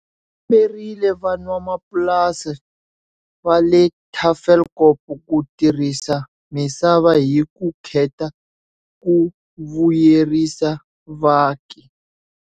U komberile van'wamapurasi va le Tafelkop ku tirhisa misava hi vukheta ku vuyerisa vaaki.